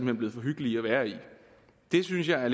er blevet for hyggelige at være i det synes jeg er